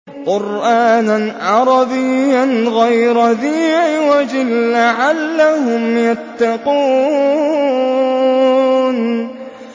قُرْآنًا عَرَبِيًّا غَيْرَ ذِي عِوَجٍ لَّعَلَّهُمْ يَتَّقُونَ